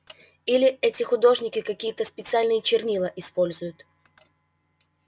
или эти художники какие-то специальные чернила используют